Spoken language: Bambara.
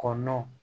Kɔ nɔnɔ